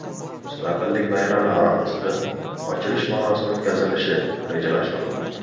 Mustaqillik bayrami arafasida ochilish marosimi o‘tkazilishi rejalashtirilmoqda.